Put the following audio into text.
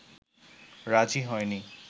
রাজি হয়নি